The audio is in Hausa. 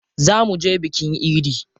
Zaa muje bikin idi.